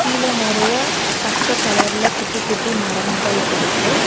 கீழ நறைய பச்ச கலர்ல குட்டி குட்டி மரம்ங்கள் இருக்கு.